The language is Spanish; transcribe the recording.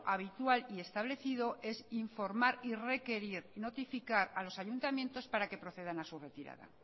habitual y establecido es informar requerir y notificar a los ayuntamientos para que procedan a su retirada